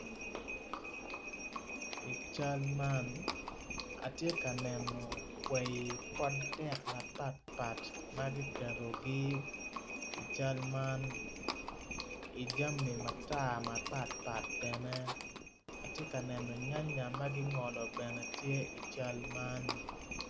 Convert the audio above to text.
I cal man atye ka neno kwai pot dek mapatpat i cal man jami mapatpat bene yanya bene tye i cal man.